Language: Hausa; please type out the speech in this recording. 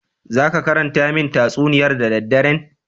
"Zaki karanta min tatsuniyar da dadderen?"